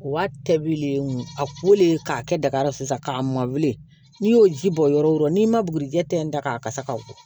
O waati le mun a kolen k'a kɛ daga sisan k'a mɔnlen n'i y'o ji bɔ yɔrɔ o yɔrɔ n'i ma bugurijɛ tɛn da k'a kasa go